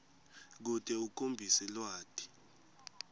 kute ukhombise lwati